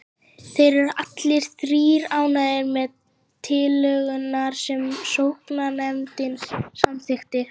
Þeir eru allir þrír ánægðir með tillögurnar sem sóknarnefndin samþykkir.